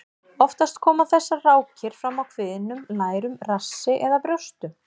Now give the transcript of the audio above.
Oftast koma þessar rákir fram á kviðnum, lærum, rassi eða brjóstum.